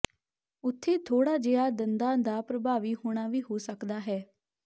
ਉੱਥੇ ਥੋੜ੍ਹਾ ਜਿਹਾ ਦੰਦਾਂ ਦਾ ਪ੍ਰਭਾਵੀ ਹੋਣਾ ਵੀ ਹੋ ਸਕਦਾ ਹੈ